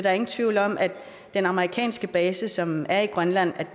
er ingen tvivl om at den amerikanske base som er i grønland